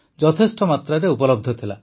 ଯଥେଷ୍ଟ ମାତ୍ରାରେ ଉପଲବ୍ଧ ଥିଲା